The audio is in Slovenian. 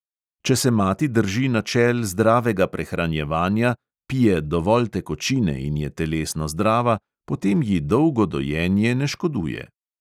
Če se mati drži načel zdravega prehranjevanja, pije dovolj tekočine in je telesno zdrava, potem ji dolgo dojenje ne škoduje.